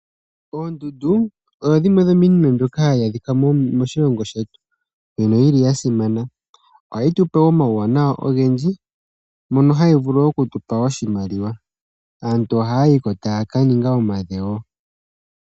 Oondundu odho dhimwr dhomiinima mbyoka ha yi adhika moshilongo shetu, mbyono yi li ya simana. Oha yi pe omauwanawa ogendji, mono ha yi vulu oku tu pa oshimoshimaliwa . Aantu ohaa yi ko.taa ka ninga omadhewo.